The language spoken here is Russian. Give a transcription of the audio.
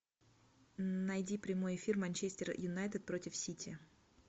найди прямой эфир манчестер юнайтед против сити